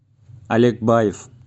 олег баев